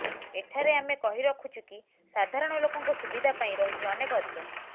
ଏଠାରେ ଆମେ କହି ରଖୁଛୁ କି ସାଧାରଣ ଲୋକଙ୍କ ସୁବିଧା ପାଇଁ ରହିଛି ଅନେକ ଅଧିକାର